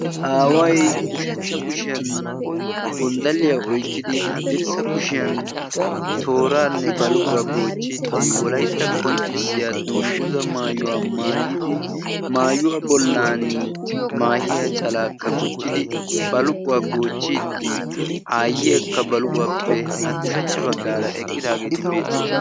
Aaway ushachcha kushiyan gonddalliya oyikkidi haddirssa kushiyan tooraanne baluquwa goochchiiddi wolayitta qonccissiya dungguzzaa maayuwa maayidi maayuwa bollan maahiya calaakka gujjidi baluquwa goochchidi aayyiyakka baluquwappe ushachcha baggaara eqqidaageeti beettoosona